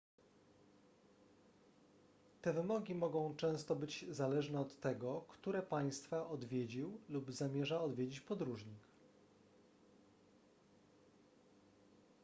te wymogi mogą często być zależne od tego które państwa odwiedził lub zamierza odwiedzić podróżnik